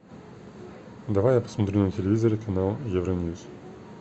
давай я посмотрю на телевизоре канал евроньюс